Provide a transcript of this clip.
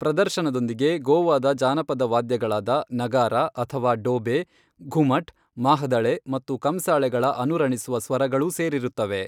ಪ್ರದರ್ಶನದೊಂದಿಗೆ ಗೋವಾದ ಜಾನಪದ ವಾದ್ಯಗಳಾದ ನಗಾರಾ ಅಥವಾ ಡೋಬೆ, ಘುಮಟ್, ಮಾಹ್ದಳೆ ಮತ್ತು ಕಂಸಾಳೆಗಳ ಅನುರಣಿಸುವ ಸ್ವರಗಳೂ ಸೇರಿರುತ್ತವೆ.